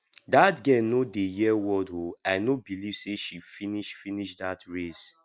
dat girl no dey hear word oo i no believe say she finish finish dat race